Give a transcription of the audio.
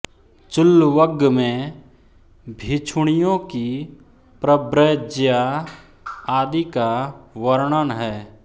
चुल्लवग्ग में भिक्षुणियों की प्रव्रज्या आदि का वर्णन है